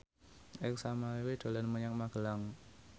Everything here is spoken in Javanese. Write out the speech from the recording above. Ersa Mayori dolan menyang Magelang